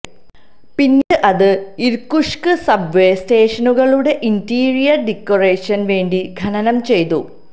പിന്നീട് അത് Irkutsk subway സ്റ്റേഷനുകളുടെ ഇന്റീരിയർ ഡെക്കറേഷൻ വേണ്ടി ഖനനം ചെയ്തു